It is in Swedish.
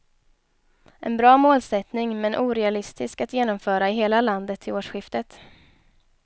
En bra målsättning, men orealistisk att genomföra i hela landet till årsskiftet.